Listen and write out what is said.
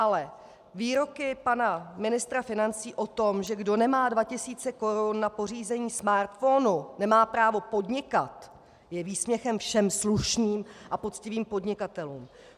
Ale výroky pana ministra financí o tom, že kdo nemá dva tisíce korun na pořízení smartphonu, nemá právo podnikat, jsou výsměchem všem slušným a poctivým podnikatelům.